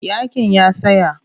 Yaƙin ya tsaya.